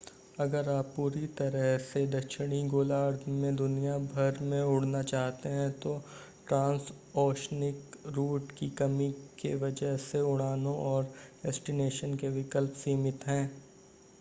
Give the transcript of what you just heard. अगर आप पूरी तरह से दक्षिणी गोलार्ध में दुनिया भर में उड़ना चाहते हैं तो ट्रांसओशनिक रूट की कमी के वजह से उड़ानों और डेस्टिनेशन के विकल्प सीमित हैं